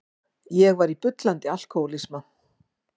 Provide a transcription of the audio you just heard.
Ég var í bullandi alkohólisma.